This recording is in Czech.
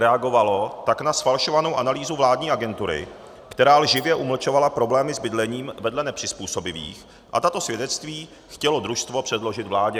Reagovalo tak na zfalšovanou analýzu vládní agentury, která lživě zamlčovala problémy s bydlením vedle nepřizpůsobivých, a tato svědectví chtělo družstvo předložit vládě.